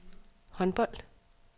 håndbold